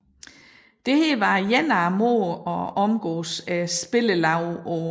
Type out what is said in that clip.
Dette var en af måderne at omgåes spillelovene på